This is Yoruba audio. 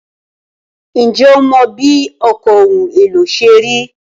Ǹjẹ́ o mọ bí ọkọ̀ ohun èlò ṣe rí?